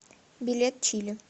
билет чили